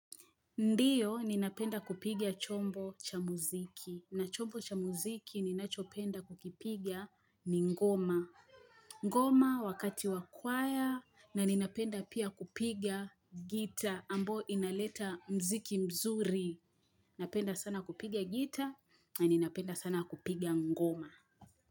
Ndiyo, ninapenda kupigia chombo cha muziki. Na chombo cha muziki, ninachopenda kukipigia ni ngoma. Ngoma wakati wakwaya, na ninapenda pia kupigia gita, ambo inaleta mziki mzuri. Ninapenda sana kupigia gita, na ninapenda sana kupigia ngoma.